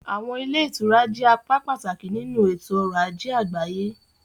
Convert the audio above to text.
Àwọn ilé ìtura jẹ́ apá pàtàkì nínú ètò ọrọ̀ ajé àgbáyé.